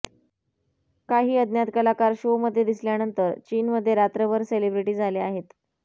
काही अज्ञात कलाकार शोमध्ये दिसल्यानंतर चीनमध्ये रात्रभर सेलिब्रेटी झाले आहेत